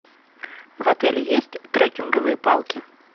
в отеле есть треккинговые палки